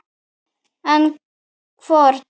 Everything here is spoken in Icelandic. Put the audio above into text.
En hvorn?